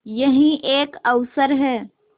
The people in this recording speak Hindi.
यही एक अवसर है